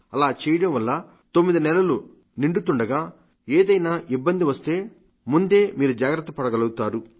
అలా చేయడం వల్ల తొమ్మిది నెలలు నిండుతుండగా ఏదైనా ఇబ్బంది వస్తే ముందే మీరు జాగ్రత్త పడగలుగుతారు